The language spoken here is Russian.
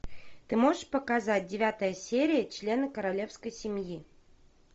ты можешь показать девятая серия члены королевской семьи